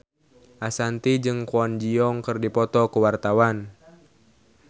Ashanti jeung Kwon Ji Yong keur dipoto ku wartawan